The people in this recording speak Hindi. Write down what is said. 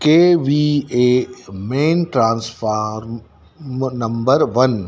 के V A main transformer number one --